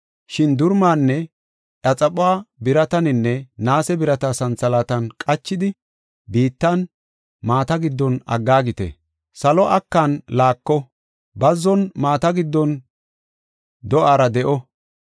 Shin durumaanne iya xaphuwa birataninne naase birata santhalaatan qachidi, biittan, maata giddon aggaagite. Salo akan laako; bazzon maata giddon do7ara de7o.